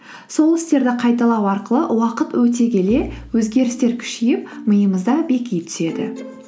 сол істерді қайталау арқылы уақыт өте келе өзгерістер күшейіп миымызда беки түседі